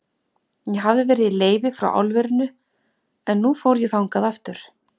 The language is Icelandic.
Ég hafði verið í leyfi frá álverinu, en nú fór ég þangað aftur.